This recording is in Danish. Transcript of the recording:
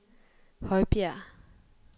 Højbjerg